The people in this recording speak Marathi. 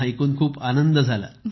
ऐकून खूप आनंद झाला